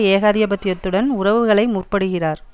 ஏகாதிபத்தியத்துடன் உறவுகளை முற்படுகிறார்